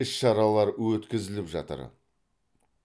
іс шаралар өткізіліп жатыр